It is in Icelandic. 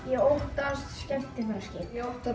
ég óttast skemmtiferðaskip ég óttast